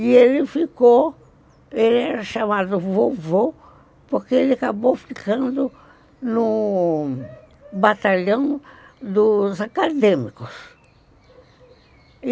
E ele ficou, ele era chamado vovô, porque ele acabou ficando no no batalhão dos acadêmicos.